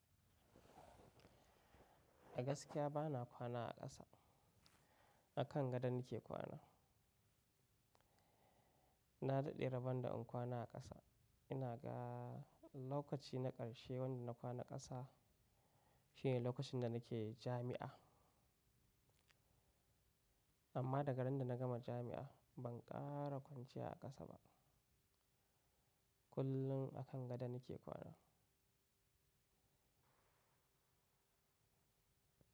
A gaskiya ba na kwana a ƙasa, a kan gado nake kwana. Na daɗe rabon da in kwana a ƙasa. Ina ga lokaci na ƙarshe wanda na kwana ƙasa shine lokacin da nake jami'a. Amma daga ran da na gama jami'a ban ƙara kwanciya a ƙasa ba. Kullun a kan gado nake kwana.